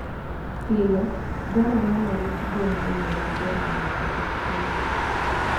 Pile, dwarore ni orit gwen e yo maber mondo tuoche kik landre.